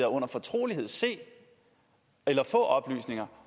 og under fortrolighed se eller få oplysninger